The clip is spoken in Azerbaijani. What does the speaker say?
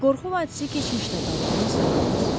Qorxu vadisi keçmişdə qalıb, Mister Duqlas.